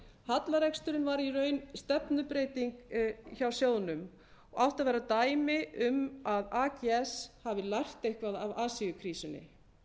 hallareksturinn var í raun stefnubreyting hjá sjóðnum og átti að vera dæmi um að ags hafi lært eitthvað af asíukrísunni